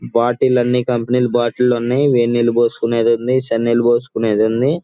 Bottle అన్ని company ల bottle ఉన్నాయ్. వేడినీరు పోసుకునేది ఉంది.చల్నేరు పోసుకునేది ఉంది.